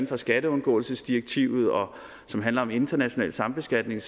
for skatteundgåelsesdirektivet og som handler om international sambeskatning